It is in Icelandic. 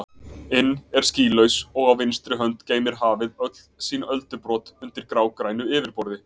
inn er skýlaus og á vinstri hönd geymir hafið öll sín öldubrot undir grágrænu yfirborði.